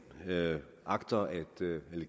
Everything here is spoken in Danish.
agter at